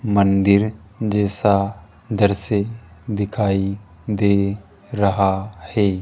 मंदिर जैसा दृश्य दिखाई दे रहा है।